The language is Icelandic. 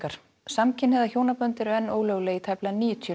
samkynja hjónabönd eru enn ólögleg í tæplega níutíu